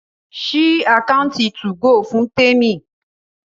sí Àkáùntì 2go fún Temi!